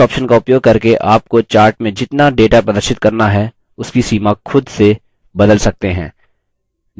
इस option का उपयोग करके आपको chart में जितना data प्रदर्शित करना है उसकी सीमा खुद से बदल सकते हैं